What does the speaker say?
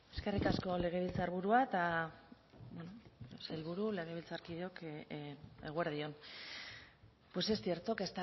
eskerrik asko legebiltzarburua eta sailburu legebiltzarkideok eguerdi on pues es cierto que